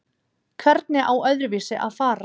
Hvernig á öðruvísi að fara?